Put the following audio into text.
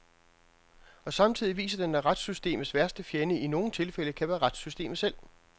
Og samtidig viser den, at retssystemets værste fjende i nogen tilfælde kan være retssystemet selv.